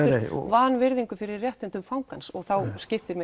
vanvirðingu fyrir réttindum fangans og þá skiptir